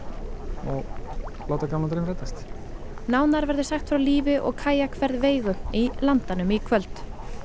og láta gamlan draum rætast nánar verður sagt frá lífi og Veigu í Landanum í kvöld